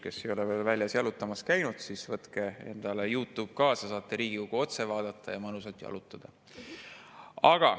Kes ei ole veel väljas jalutamas käinud, siis võtke Youtube kaasa, saate Riigikogu otse vaadata ja mõnusalt jalutada.